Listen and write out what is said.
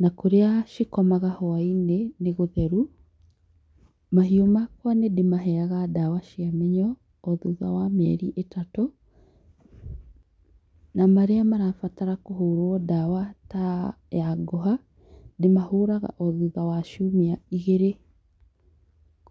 na kũrĩa cikomaga hwainĩ, nĩ gũtheru. Mahiũ makwa nĩ ndĩmaheyaga ndawa cia mĩnyo o thutha wa mĩeri ĩtatũ, na marĩa marabatara kũhũrwo ndawa, ta ya ngũha, ndĩmahũraga o thutha wa ciumia igĩrĩ,